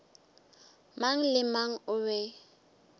mang le mang o be